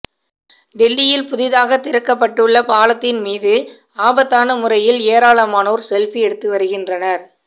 டெல்லியில் புதிதாக திறக்கப்பட்டுள்ள பாலத்தின் மீது ஆபத்தான முறையில் ஏராளமானோர் செல்ஃபி எடுத்து வருகின்றனர்